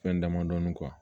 Fɛn damadɔni